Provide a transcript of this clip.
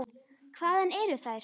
Hvaðan eru þær.